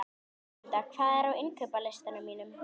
Rósmunda, hvað er á innkaupalistanum mínum?